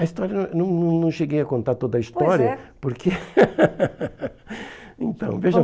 A história, não não não cheguei a contar toda a história, pois é, porque... Então, veja